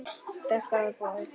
Þær þáðu boðið.